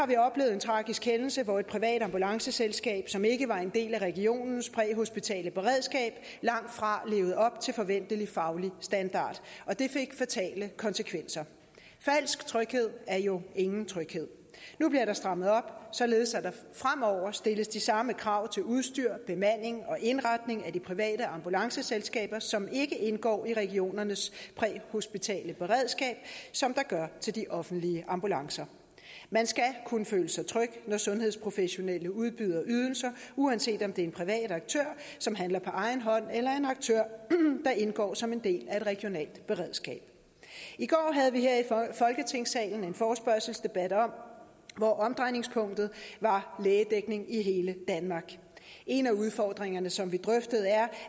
en tragisk hændelse hvor et privat ambulanceselskab som ikke var en del af regionens præhospitale beredskab langtfra levede op til forventelig faglig standard og det fik fatale konsekvenser falsk tryghed er jo ingen tryghed nu bliver der strammet op således at der fremover stilles de samme krav til udstyr bemanding og indretning af de private ambulanceselskaber som ikke indgår i regionernes præhospitale beredskab som der gør til de offentlige ambulancer man skal kunne føle sig tryg når sundhedsprofessionelle udbyder ydelser uanset om det er en privat aktør som handler på egen hånd eller en aktør der indgår som en del af et regionalt beredskab i går havde vi her i folketingssalen en forespørgselsdebat hvor omdrejningspunktet var lægedækning i hele danmark en af udfordringerne som vi drøftede er